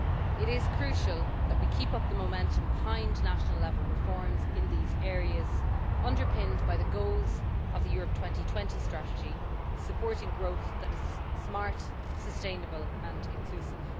It is crucial that we keep up the momentum behind national level reforms in these areas, underpinned by the goals of the Europe 2020 Strategy supporting growth that is smart, sustainable and inclusive.